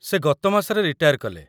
ସେ ଗତ ମାସରେ ରିଟାୟାର୍ କଲେ ।